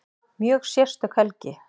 Mjög sérstök helgi